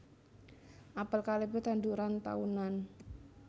Apel kalebu tanduran taunan